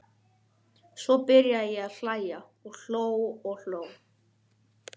Svo byrjaði ég að hlæja og hló og hló.